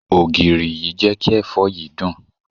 Ògìrì yìí jé kí èfó yìí dùn.